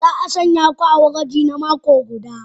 Za a sanya ku a gwaji na mako guda.